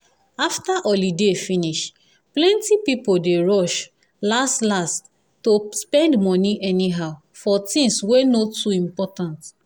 after holiday finish plenty people dey rush last-last to spend money anyhow for things wey no too important.